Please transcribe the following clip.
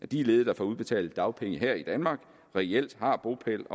de ledige der får udbetalt dagpenge her i danmark reelt har bopæl